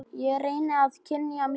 Ég reyni að kyngja mínu.